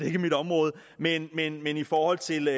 er mit område men men i forhold til